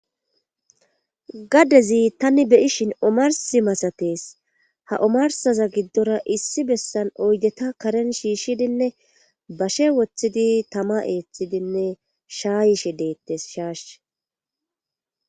Gaddezi tani beyishin omarsi masatees ha omarsaza giddora issi bessan oydeta karen shiishshidinne bashe woththidi tama eeththidinne shaa yishe deettes shaash.